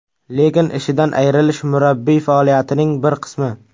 Lekin ishidan ayrilish murabbiy faoliyatining bir qismi.